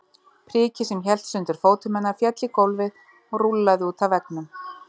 Prikið sem hélt sundur fótum hennar féll í gólfið og rúllaði út að veggnum.